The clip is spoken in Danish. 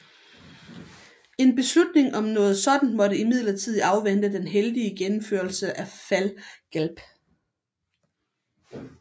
En beslutning om noget sådant måtte imidlertid afvente den heldige gennemførelse af Fall Gelb